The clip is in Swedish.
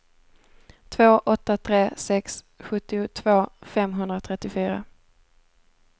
två åtta tre sex sjuttiotvå femhundratrettiofyra